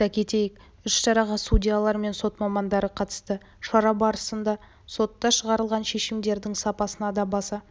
айта кетейік іс-шараға судьялар мен сот мамандары қатысты шара барысында сотта шығарылған шешімдердің сапасына да баса